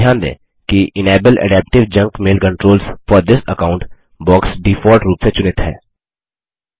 ध्यान दें कि enable adaptive junk mail controls for this account box default रूप से चुनित है